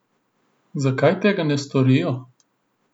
Zakaj tega ne storijo?